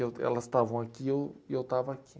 Eu elas estavam aqui e eu e eu estava aqui.